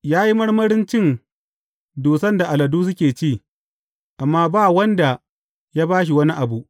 Ya yi marmarin cin dusan da aladun suke ci, amma ba wanda ya ba shi wani abu.